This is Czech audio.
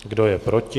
Kdo je proti?